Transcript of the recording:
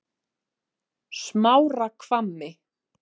Smárahvammi